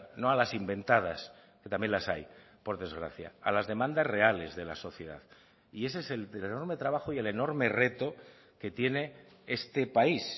no a las inventadas que también las hay por desgracia a las demandas reales de la sociedad y ese es el enorme trabajo y el enorme reto que tiene este país